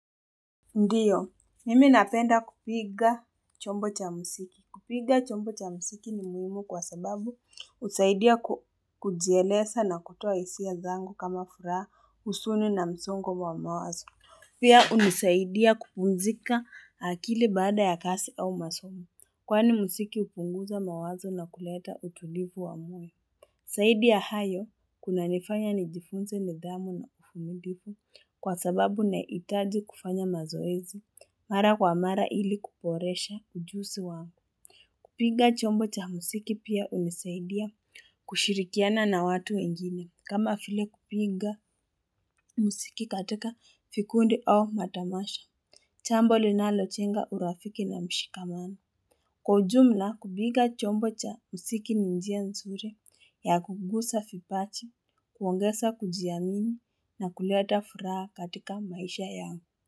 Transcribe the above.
Ndiyo, mimi napenda kupiga chombo cha muziki. Kupiga chombo cha muziki ni muhimu kwa sababu husaidia kujieleza na kutoa hisia zangu kama furaha huzuni na msongo wa mawazo. Pia hunisaidia kupumzika akili baada ya kazi au masomo. Kwani muziki hupunguza mawazo na kuleta utulivu wa moyo. Zaidi ya hayo kuna nifanya nijifunze ni dhamu na uvumilivu kwa sababu inahitaji kufanya mazoezi mara kwa mara ili kuboresha ujuzi wangu. Kupiga chombo cha muziki pia hunisaidia kushirikiana na watu wengine kama vile kupinga muziki katika vikundi au matamasha. Jambo linalojenga urafiki na mshikamano. Kwaujumla kupiga chombo cha muziki ni njia nzuri ya kukuza vipaji, kuongeza kujiamini na kuleta furaha katika maisha yangu.